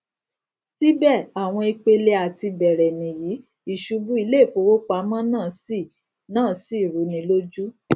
sibe awon ipele atibere niyi isubu ileifowopamo naa si naa si runi loju